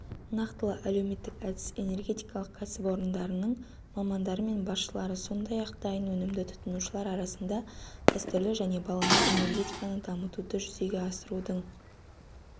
нақтылы әлеуметтік-әдіс энергетикалық кәсіпорындарының мамандары мен басшылары сондай-ақ дайын өнімді тұтынушылар арасында дәстүрлі және балама энергетиканы дамытуды жүзеге асырудың